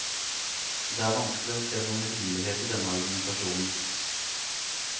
Det er vanskelig å se noen rimelighet i denne argumentasjonen.